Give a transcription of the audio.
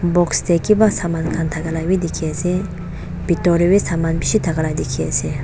box deh kiba saman khan thakalawi dikhi asey bitor deh wi saman bishi thakala dikhi asey.